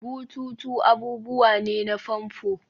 bututu abubuwa ne na famfo